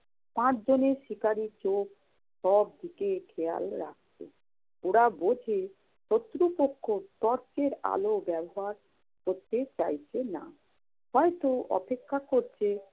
পাঁচজনের শিকারি চোখ সব দিকে খেয়াল রাখছে। ওরা বোঝে, শত্রু পক্ষ টর্চের আলো ব্যবহার করতে চাইছে না। হয়ত অপেক্ষা করছে